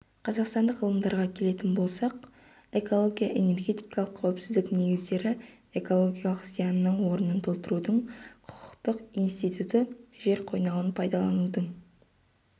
қазақстандық ғалымдарға келетін болсақ эколого-энергетикалық қауіпсіздік негіздері экологиялық зиянның орынын толтырудың құқықтық институты жер қойнауын пайдаланудың